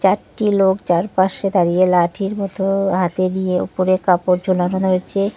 চারটি লোক চারপাশে দাঁড়িয়ে লাঠির মতো হাতে দিয়ে উপরে কাপড় ঝোলানো রয়েছে।